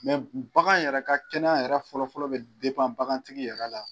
Mɛ bagan yɛrɛ ka kɛnɛya yɛrɛ fɔlɔfɔlɔ bɛ bagantigi yɛrɛ la